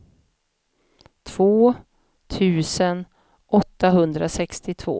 två tusen åttahundrasextiotvå